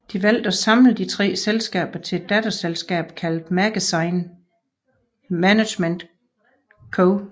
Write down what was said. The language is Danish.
De valgte at samle disse tre selskaber til et datterselskab kaldet Magazine Management Co